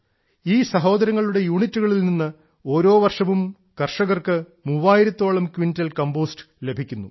ഈ സഹോദരങ്ങളുടെ യൂണിറ്റുകളിൽ നിന്ന് ഓരോ വർഷവും കർഷകർക്ക് മൂവായിരത്തോളം ക്വിന്റൽ കമ്പോസ്റ്റ് ലഭിക്കുന്നു